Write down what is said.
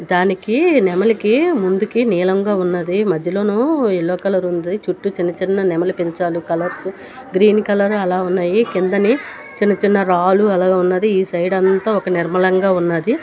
దానికి నెమలికి ముందుకి నీలంగా ఉన్నది మధ్యలోను ఎల్లో కలర్ ఉంది. చుట్టూ చిన్న చిన్న నెమలి పించాలు కలర్స్ గ్రీన్ కలర్ అలా ఉన్నాయి కిందని చిన్నచిన్న రాలు అలాగా ఉన్నది. ఈ సైడ్ అంతా ఒక నిర్మలంగా ఉన్నది.